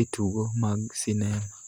e tugo mag sinema.